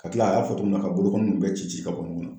Ka kila a y'a fɔ togo min na ka bolokɔniw bɛɛ ci ka bɔ ɲɔgɔn na